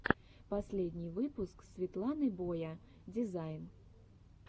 последний выпуск светланы боя дизайн